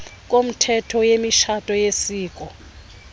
komthetho wemitshato yesiko